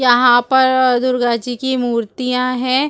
यहां पर दुर्गा जी की मूर्तियां हैं।